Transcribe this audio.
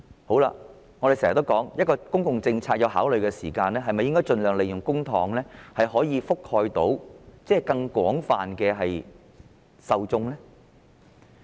我們經常說道，當政府考慮一項公共政策時，應該盡量利用公帑覆蓋更多受眾。